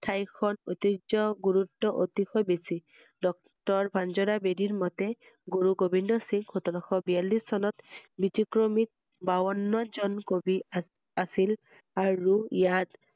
ঠাইখন ঐতিহ্য গুৰুত্ব অতিকৈ বেছি ডক্তৰ মঞ্জুৰা বেদি ৰ মতে গুৰু গোবিন্দ সিংহ সোতৰ শ বিয়াল্লিষ চনত ব্যতিক্ৰমী বাৱ~ন্ন জন কবি আছিল আৰু ইয়াত